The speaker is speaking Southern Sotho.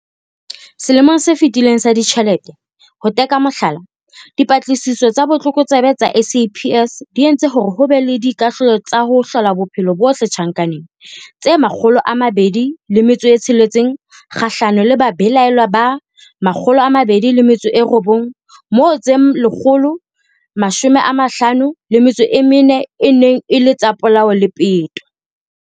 Selemong se fetileng sa ditjhelete, ho tea ka mohlala, Dipatlisiso tsa Botlokotsebe tsa SAPS di entse hore ho be le dikahlolo tsa ho hlola bophelo bohle tjhankaneng tse 206 kgahlanong le babelaellwa ba 209, moo tse 154 e neng e le tsa polao le peto.